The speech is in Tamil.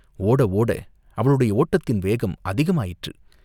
ஓட ஓட, அவளுடைய ஓட்டத்தின் வேகம் அதிகமாயிற்று.